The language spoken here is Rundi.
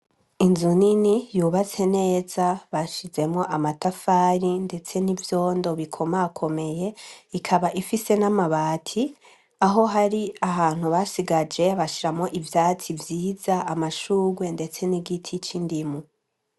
Inzu nini yubatse neza bashizemo amatafari, ndetse n'ivyondo bikomakomeye ikaba ifise n'amabati aho hari ahantu basigaje bashiramo ivyatsi vyiza amashurwe, ndetse n'igiti c'indimu.